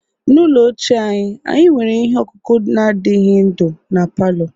N'ụlọ ochie anyị, anyị nwere ihe ọkụkụ na adighi ndu na palọ.